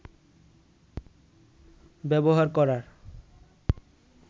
ব্যবহার করার